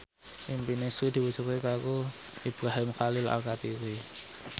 impine Sri diwujudke karo Ibrahim Khalil Alkatiri